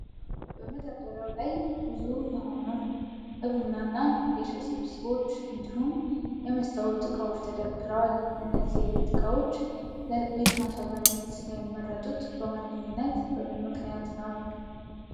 በመደርደሪያው ላይ ውብ የሆኑ የቡናና የሻይ ስብስቦች እንዲሁም የመስታወት ዕቃዎች ተደርድረዋል። እነዚህ የቤት ዕቃዎች ለቤት ማስዋቢያነት የሚመረጡት በዋነኛነት በምን ምክንያት ነው?